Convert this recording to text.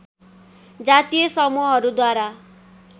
जातीय समूहहरू द्वारा